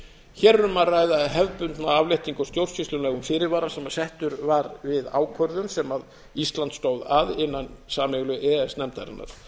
hér er um að ræða hefðbundna afléttingu á stjórnsýslulegum fyrirvara sem settur var við ákvörðun sem ísland stóð að innan sameiginlegu e e s nefndarinnar